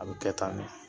A bɛ kɛ tan de